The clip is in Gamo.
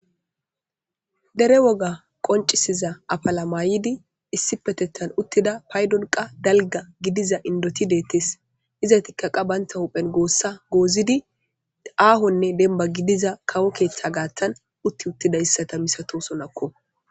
Dere woga qoncisiza affalla mayidi issippetethan uttida paydon qa dalgga gidiza indithi dethess. Izzathikka qa banthawu huphen gossa gozidi aahone demba gidiza kawo keththa gathan uttiwothidayssa missathosonakko.